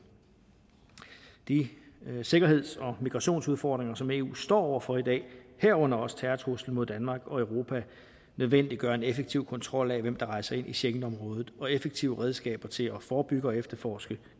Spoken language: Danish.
de sikkerheds og migrationsudfordringer som eu står over for i dag herunder også terrortruslen mod danmark og europa nødvendiggør en effektiv kontrol af hvem der rejser ind i schengenområdet og effektive redskaber til at forebygge og efterforske